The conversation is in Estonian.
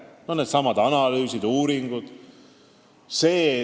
Näiteks, needsamad analüüsid ja uuringud.